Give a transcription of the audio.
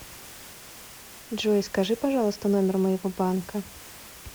джой скажи пожалуйста номер моего банка